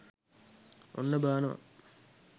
ඔන්න බානවා